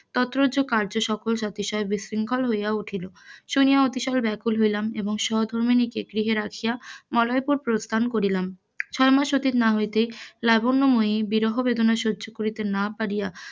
তত্রজ কারজ সফল সবিশয়ে বিশৃখল হইয়া উঠিল, শুনিয়া ভিশন ব্যাকুল হইলাম এবং সহধর্মিণীকে গৃহে রাখিয়া মলয়পুরে প্রস্থান করিলাম ছয় মাস অতীত না হইতে লাবণ্যময়ি বিরহ বেদনা সহ্য করিতে নাপারিয়া,